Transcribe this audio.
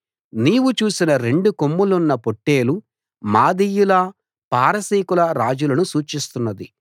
నీవు చూసిన రెండు కొమ్ములున్న పొట్టేలు మాదీయుల పారసీకుల రాజులను సూచిస్తున్నది